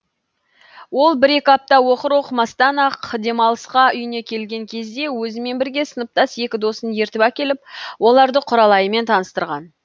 ол бір екі апта оқыр оқымастан ақ демалысқа үйіне келген кезде өзімен бірге сыныптас екі досын ертіп әкеліп оларды құралайымен таныстырған